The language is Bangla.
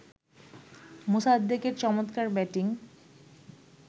মোসাদ্দেকের চমৎকার ব্যাটিং